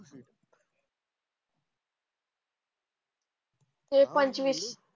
हो पंचवीस.